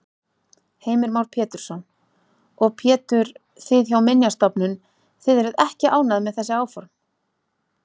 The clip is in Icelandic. Heimir Már Pétursson: Og Pétur, þið hjá Minjastofnun, þið eruð ekki ánægð með þessi áform?